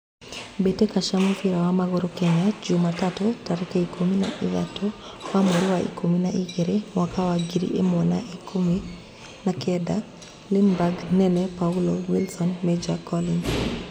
Mbitika cia mũbira wa magũrũ Kenya jumatatũ tarĩki ikũmi na ithathatu wa mweri wa ikũmi na igĩrĩ mwaka wa ngiri ĩmwe wa ikũmi na kenda: Linberg, Nene, Paulo, Wilson, Major, Collins